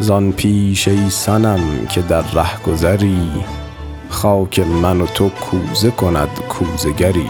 زان پیش تر ای صنم که در رهگذری خاک من و تو کوزه کند کوزه گری